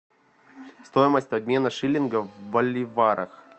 стоимость обмена шиллинга в боливарах